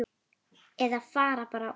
Eða fara bara út.